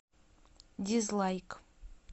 дизлайк